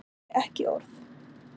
Átti ekki orð.